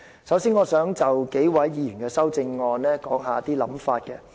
首先，我想就數位議員的修正案提出一些想法。